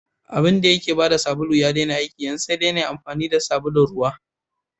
Abinda yake bada sabulu ya daina aiki, yanzu sai dai nayi amfani da sabulun ruwa.